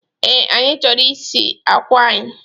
Ee, anyi choro isiji akwa anyi